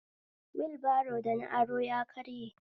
Wulbro da na aro ya karye